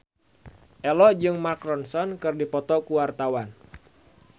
Ello jeung Mark Ronson keur dipoto ku wartawan